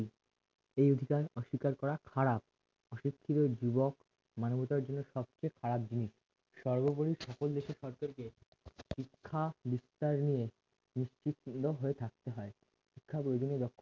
এই অধিকার অস্বীকার করা খারাপ অশিক্ষিত যুবক মানবতার জন্য সবচেয়ে খারাপ জিনিস সর্বোপরি সাফল্য দেশের শিক্ষা বিস্তার নিয়ে নিশ্চিত চিহ্ন হয়ে থাকতে হয় শিক্ষার ওই জন্য